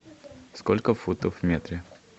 сколько футов в метре